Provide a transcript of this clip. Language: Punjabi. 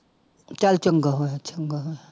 ਚੱਲ ਚੰਗਾ ਹੋਇਆ ਚੰਗਾ ਹੋਇਆ।